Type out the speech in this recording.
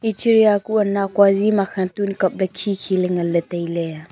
chira kuh nakua zi makhe tun kap ley khi khi ley ngan ley tai ley.